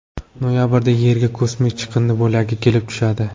Noyabrda Yerga kosmik chiqindi bo‘lagi kelib tushadi.